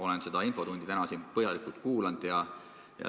Olen seda infotundi täna põhjalikult kuulanud.